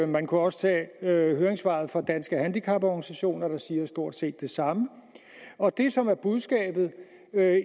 man kunne også tage høringssvaret fra danske handicaporganisationer der siger stort set det samme og det som er budskabet